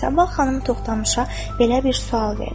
Səbah xanım Toxtamışa belə bir sual verdi: